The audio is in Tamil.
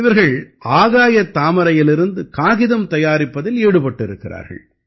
இவர்கள் ஆகாயத் தாமரையிலிருந்து காகிதம் தயாரிப்பதில் ஈடுபட்டிருக்கிறார்கள்